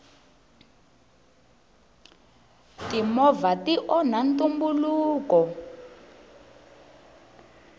timovha ti onha ntumbuluko